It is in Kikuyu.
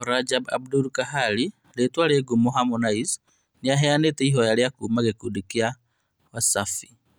Rajab Abdul Kahali rĩtwa rĩ ngumo Harmonize nĩaheanĩte ihoya rĩa kuuma gĩkundi-inĩ kĩa Wasafi